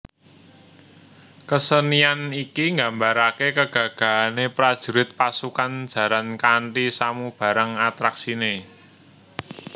Kesenian iki nggambaraké kegagahane prajurit pasukan jaran kanthi samubarang atraksiné